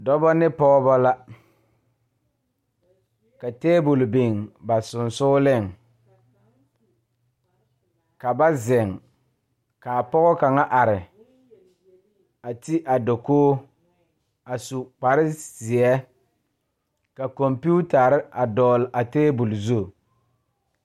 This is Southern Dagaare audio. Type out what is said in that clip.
Dɔba ne pɔgeba la ka tabol biŋ ba sensogleŋ ka ba zeŋ k,a pɔge kaŋ are a ti a dakogi a su kparezeɛ ka kɔmpetare a dɔgle a tabol zu.